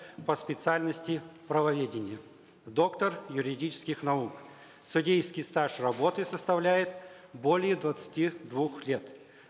по специальности правоведение доктор юридических наук судейский стаж работы составляет более двадцати двух лет